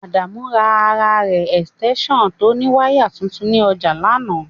Adana ra ara re esitensan to ni wire tuntun ni oja lana.